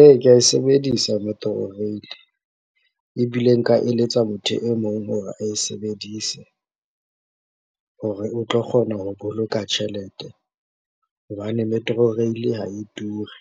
Ee, ke ae sebedisa Metrorail ebile nka eletsa motho e mong hore ae sebedise hore o tlo kgona ho boloka tjhelete. Hobane Metro Rail ha e ture,